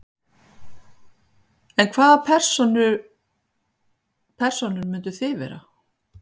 Linda: En hvaða persónur myndið þið vera?